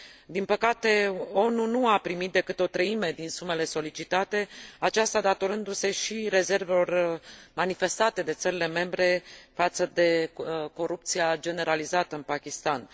Din păcate, ONU nu a primit decât o treime din sumele solicitate, aceasta datorându se și rezervelor manifestate de țările membre față de corupția generalizată în Pakistan.